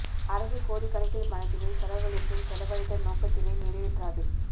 அரசு கோடி கணக்கில் பணத்தினை செலவழித்தும் செலவழித்த நோக்கத்தினை நிறைவேற்றாது